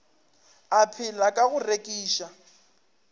a phela ka go rekiša